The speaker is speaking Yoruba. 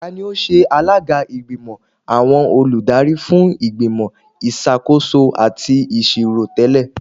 Tani o ṣe alaga igbimọ awọn oludari fun Igbimọ Isakoso ati Iṣiro tẹlẹ?